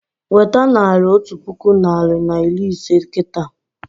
Weta naira otu puku narị na iri ise kịta!